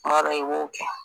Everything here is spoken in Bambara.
Kuma dɔw i b'o kɛ